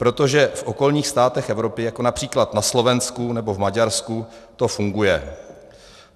Protože v okolních státech Evropy, jako například na Slovensku nebo v Maďarsku, to funguje.